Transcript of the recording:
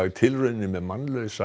tilraunir með mannlausa